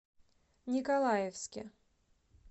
николаевске